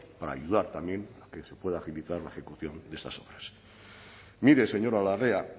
para ayudar también que se pueda agilizar la ejecución de esas obras mire señora larrea